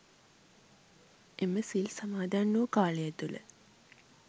එම සිල් සමාදන් වූ කාලය තුළ